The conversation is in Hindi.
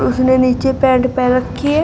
उसने नीचे पैंट पहन रखी है।